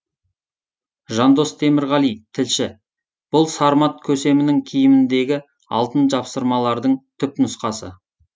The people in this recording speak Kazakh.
жандос темірғали тілші бұл сармат көсемінің киіміндегі алтын жапсырмалардың түп нұсқасы